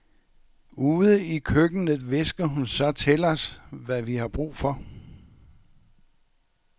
Ude i køkkenet hvisker hun så til os, hvad vi har brug for.